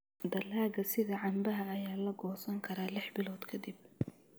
Dalagga sida cambaha ayaa la goosan karaa lix bilood ka dib.